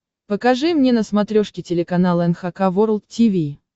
покажи мне на смотрешке телеканал эн эйч кей волд ти ви